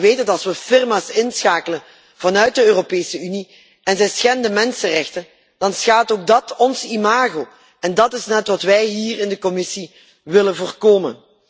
Want u weet dat als we firma's inschakelen vanuit de Europese Unie, en deze schenden mensenrechten, dan schaadt ook dat ons imago en dat is net wat wij hier in de commissie willen voorkomen.